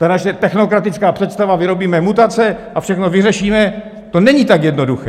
Ta naše technokratická představa: vyrobíme mutace (?) a všechno vyřešíme - to není tak jednoduché.